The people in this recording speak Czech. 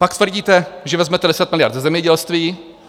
Pak tvrdíte, že vezmete 10 miliard ze zemědělství.